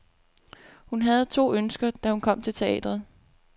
Hun havde to ønsker, da hun kom til teatret.